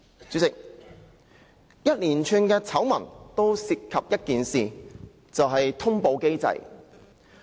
主席，連串醜聞均涉及一件事，就是通報機制。